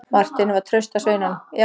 Marteini var traust að sveinunum.